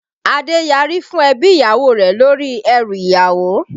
Adé yari fún ebi ìyàwó rẹ̀ lórí ẹrú ìyàwó